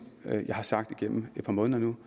jeg har sagt gennem et par måneder nu